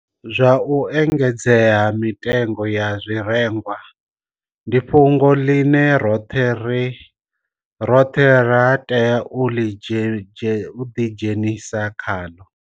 Zwa u engedzea ha mitengo ya zwirengwa ndi fhungo ḽine roṱhe ra tea u ḓidzhenisa khaḽo.